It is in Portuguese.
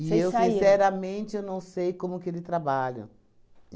eu, sinceramente, eu não sei como que ele trabalha.